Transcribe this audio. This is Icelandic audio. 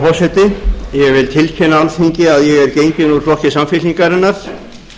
ég vil tilkynna alþingi að ég er genginn úr flokki samfylkingarinnar og hef